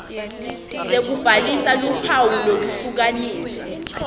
sekubhalisa luphawu lwekuhlukanisa